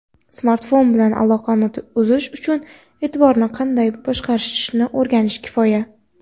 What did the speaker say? smartfon bilan aloqani uzish uchun e’tiborni qanday boshqarishni o‘rganish kifoya.